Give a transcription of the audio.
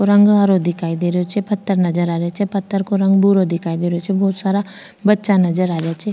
और रंग हरो दिखाई दे रहे छे पत्थर नजर आ रहे छे पत्थर को रंग भूरो दिखाई दे रहे छे बहोत सारा बच्चा नजर आ रहे छे।